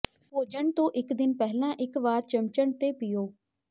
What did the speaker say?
ਭੋਜਨ ਤੋਂ ਇੱਕ ਦਿਨ ਪਹਿਲਾਂ ਇੱਕ ਵਾਰ ਚਮਚਣ ਤੇ ਪੀਓ